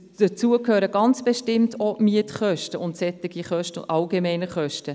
Dazu gehören ganz bestimmt auch die Mietkosten sowie die allgemeinen Kosten.